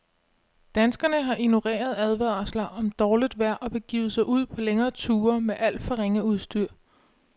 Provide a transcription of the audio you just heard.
Danskerne har ignoreret advarsler om dårligt vejr og begivet sig ud på længere ture med alt for ringe udstyr.